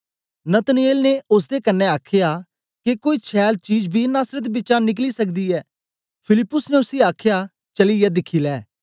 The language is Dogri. नतनएल ने ओसदे कन्ने आखया के कोई छैल चीज बी नासरत बिचा निक्क्ली सकदी ऐ फिलिप्पुस ने उसी आखया चलीयै दिखी लै